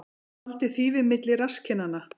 Faldi þýfi milli rasskinnanna